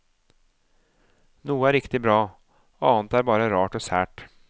Noe er riktig bra, annet er bare rart og sært.